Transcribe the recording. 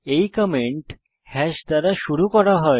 এই comment hash চিহ্ন দ্বারা শুরু হয়